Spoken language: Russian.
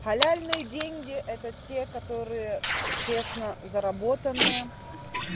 халяльные деньги это те которые честно заработанные